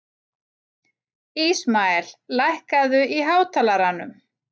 Ísmael, lækkaðu í hátalaranum.